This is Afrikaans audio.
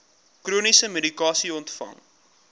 chroniese medikasie ontvang